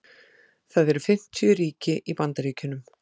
það eru fimmtíu ríki í bandaríkjunum